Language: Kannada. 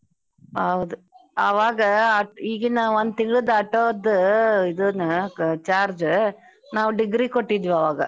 ಹೌದ್ ಅವಾಗ ಆತ ಈಗಿನ ಒಂದ್ ತಿಂಗ್ಳದ್ auto ದ ಇದನ್ನ ಕ~ charge ನಾವ್ degree ಗ್ ಕೊಟ್ಟಿದ್ವಿ ಅವಾಗ .